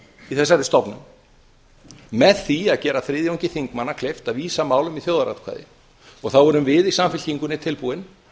í þessari stofnun með því að gera þriðjungi þingmanna kleift að vísa málum í þjóðaratkvæði þá erum við í samfylkingunni tilbúin